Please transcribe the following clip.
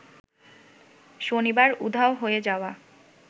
শনিবার উধাও হয়ে যাওয়া